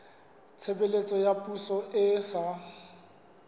tshebeletso ya poso e sa